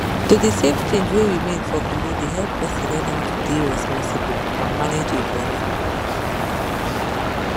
to dey save change wey remain for kolo dey help person learn how to dey responsible and manage im money